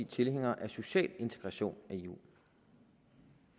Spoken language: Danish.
tilhængere af social integration i eu